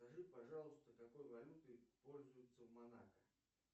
скажи пожалуйста какой валютой пользуются в монако